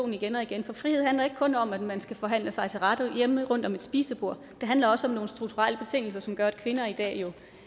igen og igen for frihed handler ikke kun om at man skal forhandle sig til rette hjemme rundt om spisebordet det handler også om nogle strukturelle betingelser som gør at kvinder i dag